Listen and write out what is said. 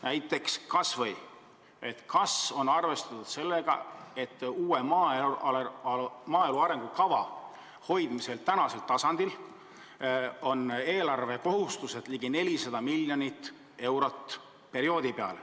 Näiteks, kas on arvestatud sellega, et kui tahetakse uut maaelu arengukava hoida tänasel tasemel, siis on perioodi eelarvekohustused ligi 400 miljonit eurot?